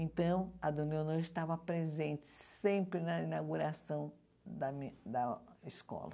Então, a dona Leonor estava presente sempre na inauguração da mi da escola.